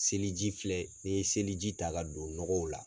Seli ji filɛ ni ye seli ji ta ka don nɔgɔw la